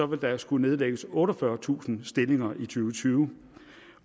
vil der skulle nedlægges otteogfyrretusind stillinger i to tusind